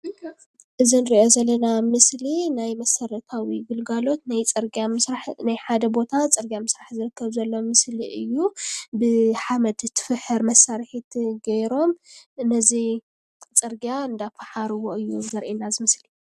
እዚ ዝረአ ዘሎ ምስሊ ናይ መሰረታዊ ግልጋሎት ናይ ፅርግያ ምስራሕ ናይ ሓደ ቦታ ፅርግያ ምስራሕ ዝርከብ ዘሎ ምስሊ እዩ። ብሓመድ ትፍሕር መሳሪሒት ገይሮም ነዚ ፅርግያ እንዳፋሓሩዎ እዩ ዘርእየና እዚ ምስሊ።